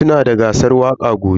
Sunada gasar waƙa gobe.